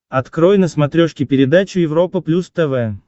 открой на смотрешке передачу европа плюс тв